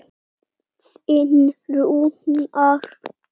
Þinn Rúnar.